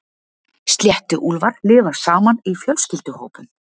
Sléttuúlfar lifa saman í fjölskylduhópum.